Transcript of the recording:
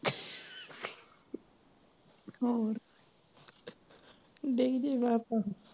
ਹੋਰ ਡਿੱਗ ਜਾਵੇ ਆਪਾਂ